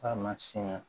A ma siɲɛ